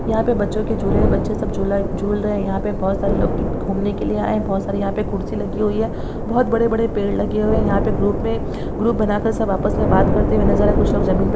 यहाँ पे बच्चों के झूलें है बच्चे सब झूला झूल रहे है यहाँ पे बहोत सारे लोग घूमने के लिए आए है बहोत सारी यहाँ पे कुर्सी लगी हुई हैं बहोत बड़े-बड़े पेड़ लगे हुए है यहाँ पे ग्रुप में ग्रुप बना कर सब आपस में बात करते हुए नजर कुछ लोग जमीन प --